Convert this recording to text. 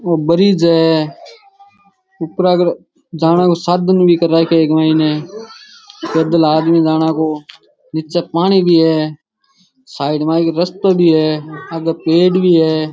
ओ ब्रिज है ऊपरा कर जाने को साधन भी कर राख्यो इक मायने पैदल आदमी जाना को नीचे पानी भी है साइड में एक रास्तो भी है एक पेड़ भी है।